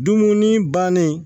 Dumuni bannen